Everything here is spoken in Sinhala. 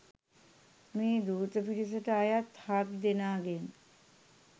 මේ දූත පිරිසට අයත් හත් දෙනාගෙන්